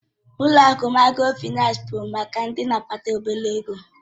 Ụlọ akụ Mikrofaịnsi bụ maka ndị na-akpata obere ego